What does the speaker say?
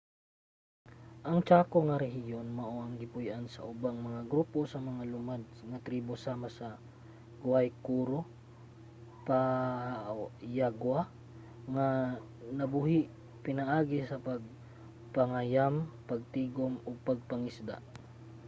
ang chaco nga rehiyon mao ang gipuy-an sa ubang mga grupo sa mga lumad nga tribo sama sa guaycurú ug payaguá nga nabuhi pinaagi sa pagpangayam pagtigum ug pagpangisda